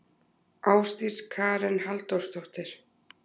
Ásdís Karen Halldórsdóttir.